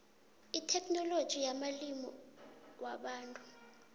itheknoloji yamalimi wabantu